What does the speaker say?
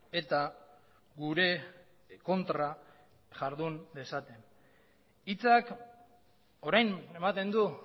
eta gure kontra jardun dezaten hitzak orain ematen du